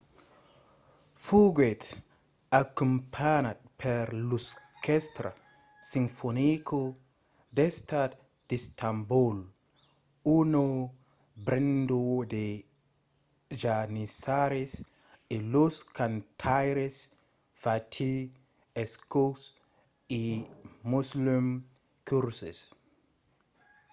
foguèt acompanhat per l'orquèstra sinfonica d'estat d'istanbol una benda de janissaris e los cantaires fatih erkoç e müslüm gürses